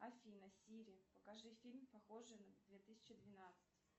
афина сири покажи фильм похожий на две тысячи двенадцать